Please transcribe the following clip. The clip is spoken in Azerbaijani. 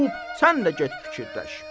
Xub, sən də get fikirləş.